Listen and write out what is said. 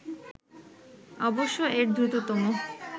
অবশ্য এর দ্রুততম